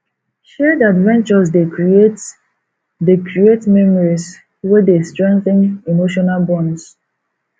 shared adventures dey create dey create memories wey dey strengthen emotional bonds